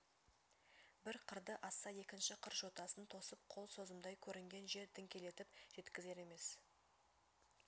бір қырды асса екінші қыр жотасын тосып қол созымдай көрінген жер діңкелетіп жеткізер емес